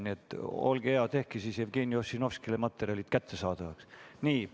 Nii et olge hea, tehke siis Jevgeni Ossinovskile materjalid kättesaadavaks.